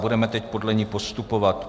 Budeme teď podle ní postupovat.